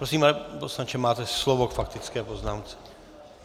Prosím, pane poslanče, máte slovo k faktické poznámce.